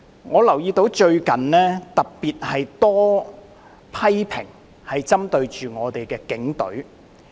我留意到最近有特別多針對警隊的批評。